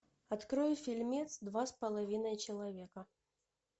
открой фильмец два с половиной человека